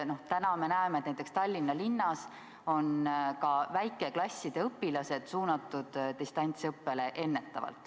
Täna me näeme, et näiteks Tallinna linnas on ka väikeklasside õpilased suunatud distantsõppele ennetavalt.